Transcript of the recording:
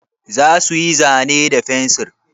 Za su yi zane da fensir?